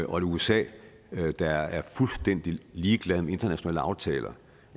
og et usa der er fuldstændig ligeglad med internationale aftaler